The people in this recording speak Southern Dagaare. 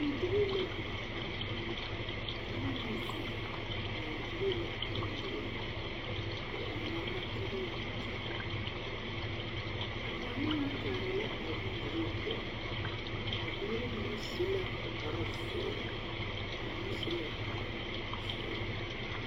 Bondirii la biŋ a noba nyɛ ziŋ ŋmaa gyili la a bondirii nyɛ ba waana la ka ba di a dɔɔnyaŋaa kaara la a bondirii poɔ a dɔba mine su la kpare zēēre ba mine su la kpare sɔglɔ.